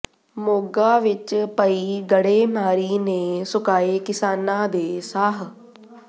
ਮੋਗਾ ਵਿੱਚ ਪਈ ਗੜੇਮਾਰੀ ਨੇ ਸੁਕਾਏ ਕਿਸਾਨਾਂ ਦੇ ਸਾਹ